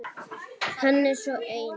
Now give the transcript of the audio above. Hann er svo ein